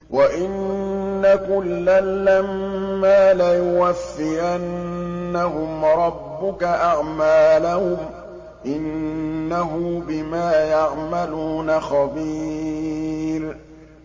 وَإِنَّ كُلًّا لَّمَّا لَيُوَفِّيَنَّهُمْ رَبُّكَ أَعْمَالَهُمْ ۚ إِنَّهُ بِمَا يَعْمَلُونَ خَبِيرٌ